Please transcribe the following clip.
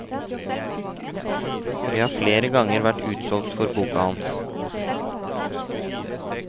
Vi har flere ganger vært utsolgt for boka hans.